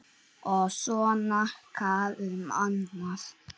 Og svona hvað um annað